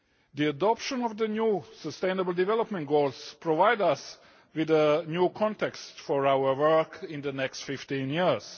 The adoption of the new sustainable development goals provides us with a new context for our work in the next 15 years.